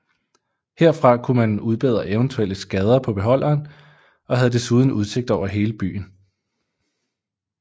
Herfra kunne man udbedre eventuelle skader på beholderen og havde desuden udsigt over hele byen